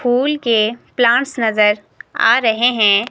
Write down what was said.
फूल के प्लांट्स नज़र आ रहे हैं।